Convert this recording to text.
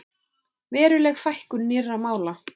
Veruleg fækkun nýrra mála